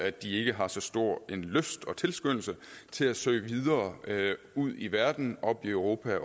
at de ikke har så stor en lyst og tilskyndelse til at søge videre ud i verden op i europa